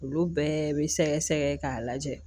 Olu bɛɛ bɛ sɛgɛsɛgɛ k'a lajɛ